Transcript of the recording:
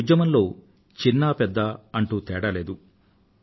ఈ ఉద్యమంలో చిన్న పెద్ద అంటూ తేడా లేదు